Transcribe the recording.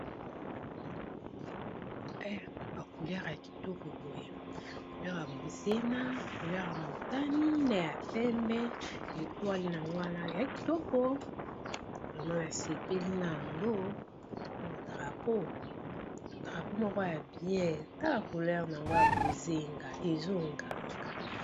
Ba kuleure ya kitoko boye kulera motani, na ya pembe, lietwale na ngowana ya kitoko vremo basepeli na yango o drapo moko ya bian ta bacouleur na yango ya bozenga ezonganga.